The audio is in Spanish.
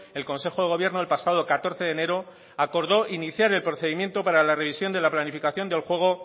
el consejo de gobierno el pasado catorce de enero acordó iniciar el procedimiento para la revisión de la planificación del juego